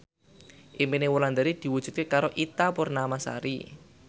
impine Wulandari diwujudke karo Ita Purnamasari